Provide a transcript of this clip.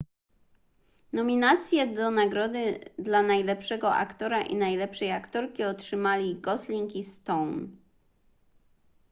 nominacje do nagrody dla najlepszego aktora i najlepszej aktorki otrzymali gosling i stone